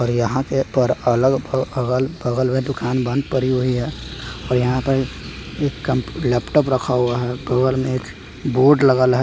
और यहाँ पे पर अलग अ अगल-बगल में दुकान बंद परी हुई है और यहाँ पर एक कम लैपटॉप रखा हुआ है बगल में एक वोड लगल है।